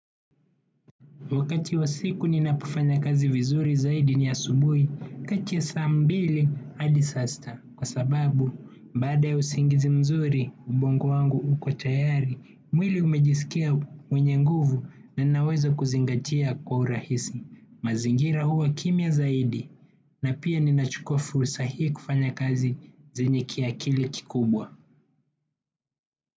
Wakati wa siku ninapofanya kazi vizuri zaidi ni asubuhi, kati ya saambili hadi sasta. Kwa sababu, baada ya usingizi mzuri, ubongo wangu uko tayari, mwili umejisikia mwenye nguvu na ninaweza kuzingatia kwa urahisi. Mazingira huwa kimya zaidi, na pia ninachukua fursa hii kufanya kazi zenye kiakili kikubwa.